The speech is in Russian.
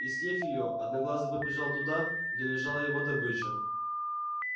и съев её одноглазый побежал туда где лежала его добыча